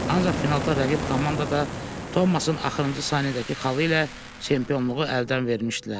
Ancaq finalda rəqib komandada Tomasın axırıncı saniyədəki xalı ilə çempionluğu əldən vermişdilər.